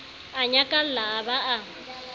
a nyakalla a ba a